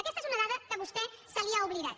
aquesta és una dada que a vostè se li ha oblidat